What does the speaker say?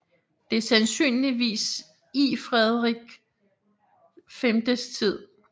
Det er sandsynligvis iFrederik VilIs tid